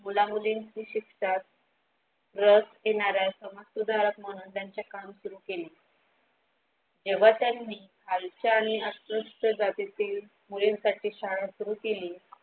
मुलींचे मुलींची शिक्षणात रस घेणारे समाजसुधाकर म्हणून त्यांच्या काम सुरु केले. तेव्हा त्यांनी खालच्या आणि अच्युत जातीची मुलींसाठी शाळा सुरू केली.